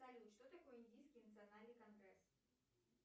салют что такое индийский национальный конгресс